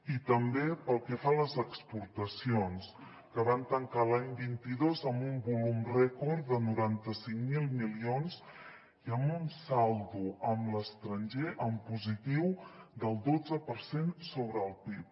i també pel que fa a les exportacions que van tancar l’any vint dos amb un volum rècord de noranta cinc mil milions i amb un saldo amb l’estranger en positiu del dotze per cent sobre el pib